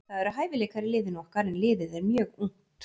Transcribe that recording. Það eru hæfileikar í liðinu okkar en liðið er mjög ungt.